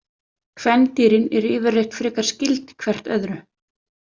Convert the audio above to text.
Kvendýrin eru yfirleitt frekar skyld hvert öðru.